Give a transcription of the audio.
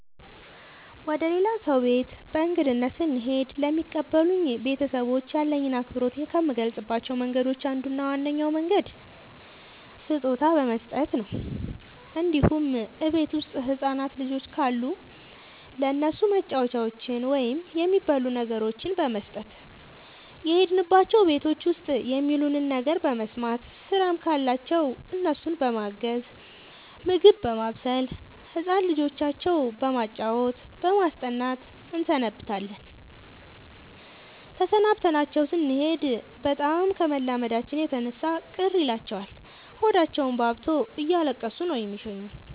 ወደ ሌላ ሰው ቤት በእንግድነት ስሄድ ለሚቀበሉኝ ቤተሰቦች ያለኝን አክብሮት ከምገልፅባቸው መንገዶች አንዱ እና ዋነኛው መንገድ ስጦታ በመስጠት ነው እንዲሁም እቤት ውስጥ ህፃናት ልጆች ካሉ ለእነሱ መጫወቻዎችን ወይም የሚበሉ ነገሮችን በመስጠት። የሄድንባቸው ቤቶች ውስጥ የሚሉንን ነገር በመስማት ስራም ካለባቸው እነሱን በማገዝ ምግብ በማብሰል ህፃን ልጆቻቸው በማጫወት በማስጠናት እንሰነብታለን ተሰናብተናቸው ስኔድ በጣም ከመላመዳችን የተነሳ ቅር ይላቸዋል ሆዳቸውባብቶ እያለቀሱ ነው የሚሸኙን።